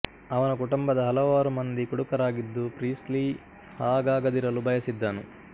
ಅವನ ಕುಟುಂಬದ ಹಲವಾರು ಮಂದಿ ಕುಡುಕರಾಗಿದ್ದು ಪ್ರೀಸ್ಲಿ ಹಾಗಾಗದಿರಲು ಬಯಸಿದ್ದನು